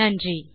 நன்றி